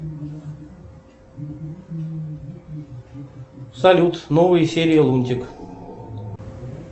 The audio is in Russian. салют новые серии лунтик